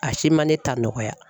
A si ma ne ta nɔgɔya.